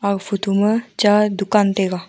aga photo ma cha dukan taiga.